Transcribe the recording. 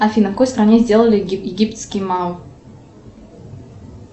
афина в какой стране сделали египетский мау